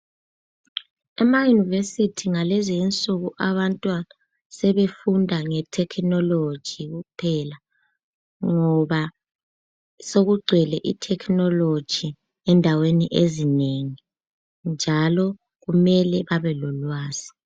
ama university ngalezinsuku abantwana bafunda nge technology kuphela ngoba sokugcwele i technology endaweni ezinengi njalo kumele abebelolwazi.